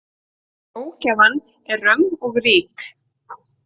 Ógæfan er römm og rík.